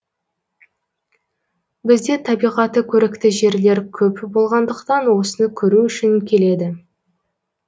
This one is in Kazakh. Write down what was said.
бізде табиғаты көрікті жерлер көп болғандықтан осыны көру үшін келеді